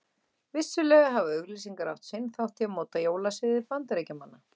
Vissulega hafa auglýsingar átt sinn þátt í að móta jólasiði Bandaríkjamanna.